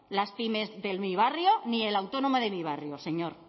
las pymes de mi barrio ni el autónomo de mi barrio señor